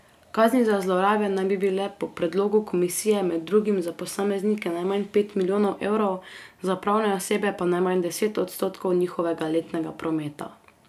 Kazni za zlorabe naj bi bile po predlogu komisije med drugim za posameznike najmanj pet milijonov evrov, za pravne osebe pa najmanj deset odstotkov njihovega letnega prometa.